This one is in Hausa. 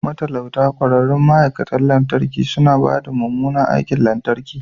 Matalauta ƙwararrun ma'aikatan lantarki suna ba da mummunan aikin lantarki